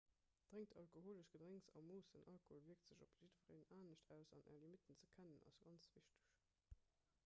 drénkt alkoholesch gedrénks a moossen alkohol wierkt sech op jiddwereen anescht aus an är limitten ze kennen ass ganz wichteg